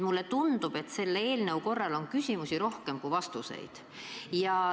Mulle tundub, et selle eelnõu korral on küsimusi rohkem kui vastuseid.